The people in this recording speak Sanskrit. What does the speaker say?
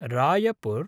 रायपुर्